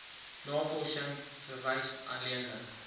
navorsing verwys alleenlik